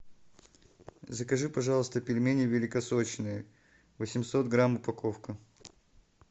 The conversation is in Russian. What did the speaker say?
закажи пожалуйста пельмени великосочные восемьсот грамм упаковка